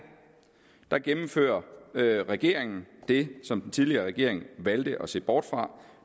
her gennemfører regeringen det som den tidligere regering valgte at se bort fra